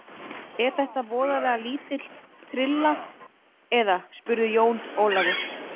Er þetta voðalega lítil trylla, eða spurði Jón Ólafur.